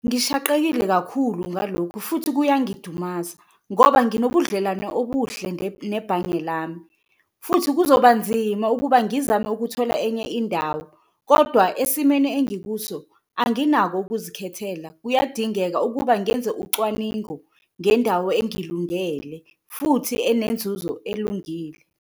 Ngishaqekile kakhulu ngalokhu futhi kuyangidumaza ngoba nginobudlelwane obuhle nebhange lami futhi kuzoba nzima ukuba ngizame ukuthola enye indawo kodwa esimeni engikuso anginako ukuzikhethela. Kuyadingeka ukuba ngenze ucwaningo ngendawo engilungele futhi enenzuzo elungile.